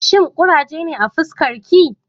Shin kuraje ne fuskarki?